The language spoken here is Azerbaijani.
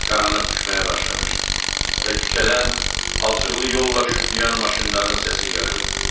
Qaranlıq düşməyə başlamışdı və küçədən palçıqlı yolla şütüyən maşınların səsi gəlirdi.